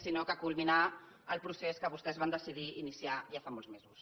sinó culminar el procés que vostès van decidir iniciar ja fa molts mesos